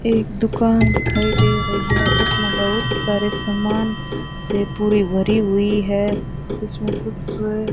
एक दुकान दिखाई दे रही है उसमें बहुत सारे सामान से पूरी भरी हुई है उसमें कुछ--